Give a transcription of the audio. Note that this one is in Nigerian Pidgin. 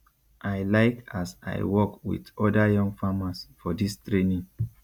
i like as i work with oda young farmers for dis training